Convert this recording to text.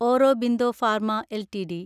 Aurobindo pharma LTD